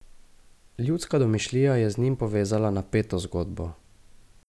Ljudska domišljija je z njim povezala napeto zgodbo.